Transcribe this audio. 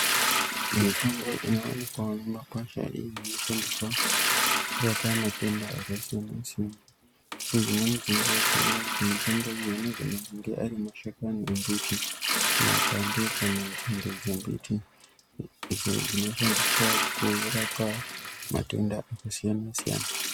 Mitombo inovanikwavo mumakwasha inoshandiswa kurapa matenda akasiyana-siyana. Nedzimweni dzenguva tinoona kuti mitombo iyi anogona kunge ari mashakani embiti mapande kana nzinde dzembiti, idzo dzinoshandiswa kurapa matenda akasiyana-siyana.